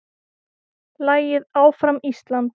Lagið Áfram Ísland!